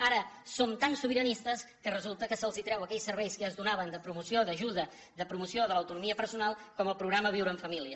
ara som tan sobiranistes que resulta que se’ls treu aquells serveis que ja es donaven de promoció d’ajuda de promoció de l’autonomia personal com el programa viure en família